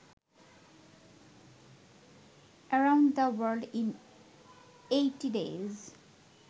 around the world in eighty days